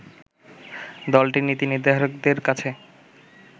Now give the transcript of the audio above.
দলটির নীতি নির্ধারকদের কাছে